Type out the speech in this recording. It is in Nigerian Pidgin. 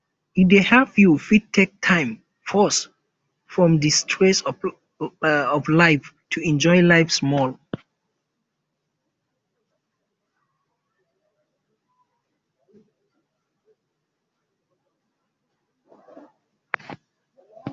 e dey help you fit take time pause from di stress of life to enjoy life small